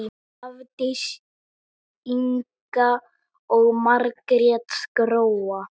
Hafdís Inga og Margrét Gróa.